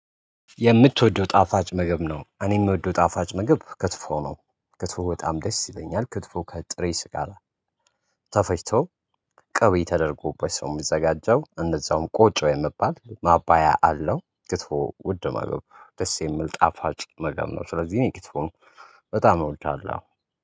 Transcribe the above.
የምትወደው ጣፋጭ ምግብ ነው። እኔ የምወደው ጣፋጭ ምግብ ከትፎ ነው ከትፎ በጣም ደስ ይለኛል ከትፎ ከጥሬ ስጋ ጋር። ተፈጭቶ ቅቤ ተደርጎበት ሰው የሚዘጋጀው እንደዛውም ቆጮ የሚባል ማባያ አለው። ክትፎ ውድ ምግብ ደስ የሚል ጣፋጭ ምግብ ነው። ስለዚህ እኔ ክትፎን በጣም እወዳለሁ